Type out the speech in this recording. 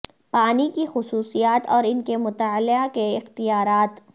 پانی کی خصوصیات اور ان کے مطالعہ کے اختیارات